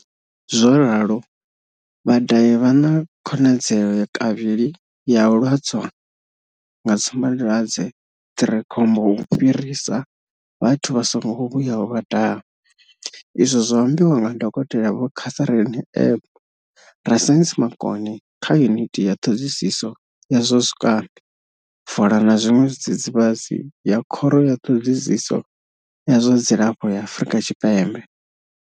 Zwo ralo, vhadahi vha na khonadzeo kavhili ya u lwadzwa nga tsumbadwadze dzi re khombo u fhirisa vhathu vha songo vhuyaho vha daha, izwi zwo ambiwa nga dokotela vho Catherine Egbe, rasaintsi makone kha yuniti ya ṱhoḓisiso ya zwa zwikambi, fola na zwiṅwe zwidzidzivhadzi ya khoro ya ṱhoḓisiso ya zwa dzilafho ya Afrika Tshipembe.